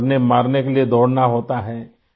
مرنے مارنے کے لئے دوڑنا ہوتا ہے